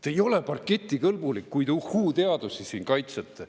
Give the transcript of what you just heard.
Te ei ole parketikõlbulik, kui te uhhuu-teadusi te siin kaitsete.